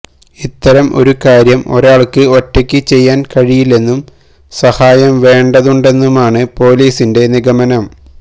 ഇത്തരം ഒരു കാര്യം ഒരാൾക്ക് ഒറ്റയ്ക്ക് ചെയ്യാൻ കഴിയില്ലെന്നും സഹായം വേണ്ടതുണ്ടെന്നുമാണ് പൊലീസിന്റെ നിഗമനം